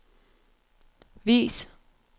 vis